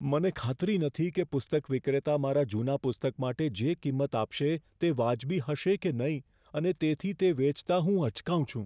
મને ખાતરી નથી કે પુસ્તક વિક્રેતા મારા જૂના પુસ્તક માટે જે કિંમત આપશે તે વાજબી હશે કે નહીં અને તેથી તે વેચતા હું અચકાઉં છું.